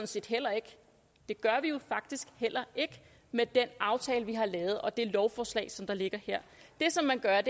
set heller ikke det gør vi jo faktisk heller ikke med den aftale vi har lavet og med det lovforslag som ligger her det som man gør